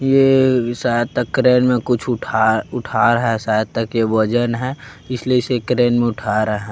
ये शायद तक क्रेन मे कुछ उठा उठा रहा हे शायद तक ये वजन हे इसलिए इसे क्रेन मैं उठा रहा हे।